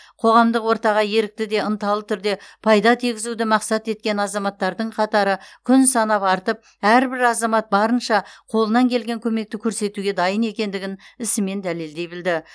қоғамдық ортаға ерікті де ынталы түрде пайда тигізуді мақсат еткен азаматтардың қатары күн санап артып әрбір азамат барынша қолынан келген көмекті көрсетуге дайын екендігін ісімен дәлелдей білді